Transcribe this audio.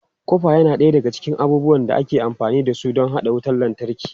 Kofa yana ɗaya daga cikin abubuwan da aka fi amfani da su don haɗa wutar lantarki.